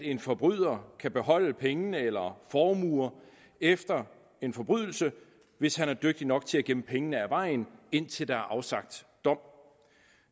en forbryder kan beholde penge eller formuer efter en forbrydelse hvis han er dygtig nok til at gemme pengene af vejen indtil der er afsagt dom